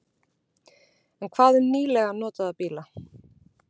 En hvað um nýlega notaða bíla?